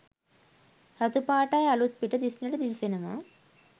රතු පාටයි අලුත්පිට දිස්නෙට දිලිසෙනවා.